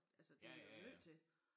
Altså det vi jo nødt til